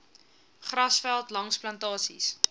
grasveld langs plantasies